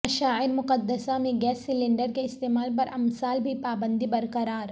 مشاعر مقدسہ میں gas cylinder کے استعمال پر امسال بھی پابندی برقرار